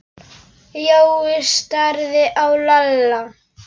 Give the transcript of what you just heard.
Jói starði á Lalla.